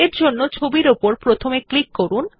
তাহলে ছবিটির উপর প্রথমে ক্লিক করুন